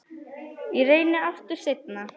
Ég reyni aftur seinna